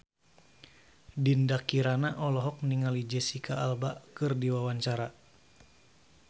Dinda Kirana olohok ningali Jesicca Alba keur diwawancara